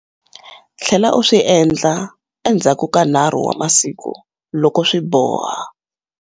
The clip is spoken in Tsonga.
Tlhela u swi endla endzhaku ka 3 wa masiku loko swi boha.